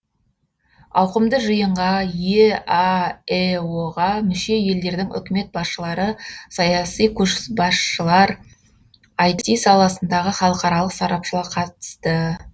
ауқымды жиынға еаэо ға мүше елдердің үкімет басшылары саяси көшбасшылар іт саласындағы халықаралық сарапшылар қатысты